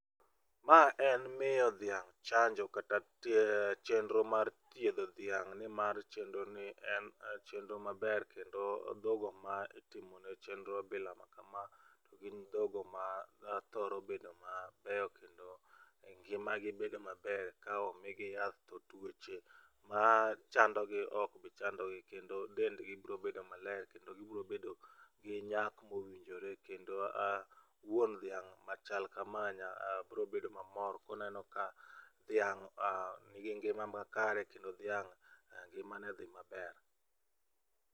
Ma en miyo dhiang' chanjo kata chenro mar thiedho dhiang' nimar chenro ni en chenro maber kendo dhok go ma itimonegi chenro bila ma kama gin dho go mathoro bedo mabeyo kendo ngimagi bedo maber ka omigi yath to tuoche machando gi okbi chandogi ,kendo dendgi biro bedo maler kendo gibiro bedo gi nyak mowinjore kendo aa, wuon dhiang' machal kama biro bedo mamor koneno ka dhiang' nigi ngima makare kendo dhiang' ngimane dhi maber